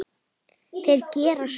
Þeir gera svo.